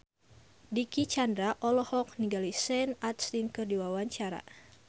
Dicky Chandra olohok ningali Sean Astin keur diwawancara